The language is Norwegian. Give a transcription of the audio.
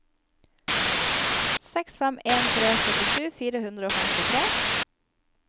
seks fem en tre syttisju fire hundre og femtitre